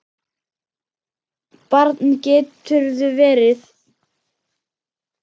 Barn geturðu verið!